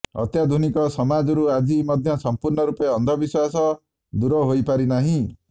ଅତ୍ୟାଧୁନିକ ସମାଜରୁ ଆଜି ମଧ୍ୟ ସଂପୂର୍ଣ୍ଣ ରୂପେ ଅନ୍ଧବିଶ୍ୱାସ ଦୂର ହୋଇପାରି ନାହିଁ